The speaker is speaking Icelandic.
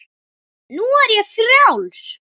Nú er ég frjáls!